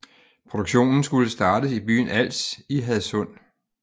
Produktionen skulle startes i byen Als i Hadsund